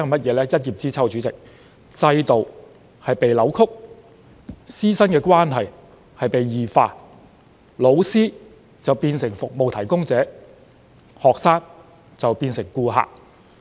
主席，一葉知秋，由此可見制度已被扭曲、師生關係已然異化，老師變成服務提供者，學生則是他們的顧客。